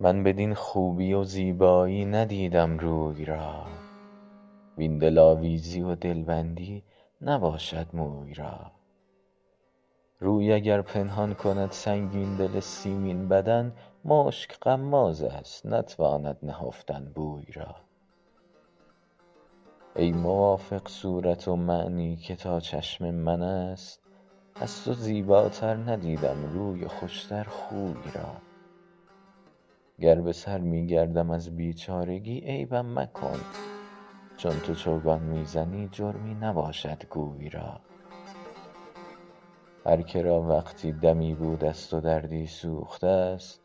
من بدین خوبی و زیبایی ندیدم روی را وین دلآویزی و دلبندی نباشد موی را روی اگر پنهان کند سنگین دل سیمین بدن مشک غمازست نتواند نهفتن بوی را ای موافق صورت ومعنی که تا چشم من است از تو زیباتر ندیدم روی و خوش تر خوی را گر به سر می گردم از بیچارگی عیبم مکن چون تو چوگان می زنی جرمی نباشد گوی را هر که را وقتی دمی بودست و دردی سوخته ست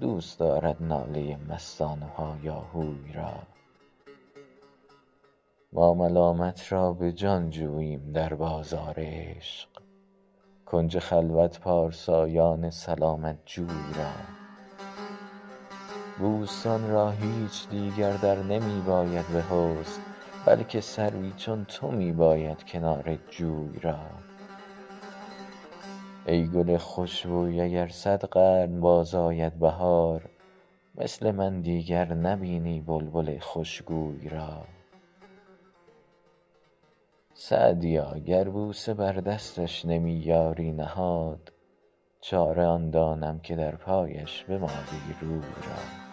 دوست دارد ناله مستان و هایاهوی را ما ملامت را به جان جوییم در بازار عشق کنج خلوت پارسایان سلامت جوی را بوستان را هیچ دیگر در نمی باید به حسن بلکه سروی چون تو می باید کنار جوی را ای گل خوش بوی اگر صد قرن باز آید بهار مثل من دیگر نبینی بلبل خوش گوی را سعدیا گر بوسه بر دستش نمی یاری نهاد چاره آن دانم که در پایش بمالی روی را